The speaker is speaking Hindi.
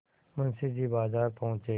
मुंशी जी बाजार पहुँचे